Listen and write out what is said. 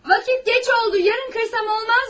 Vaxt gec oldu, yarın qırsam olmazmı?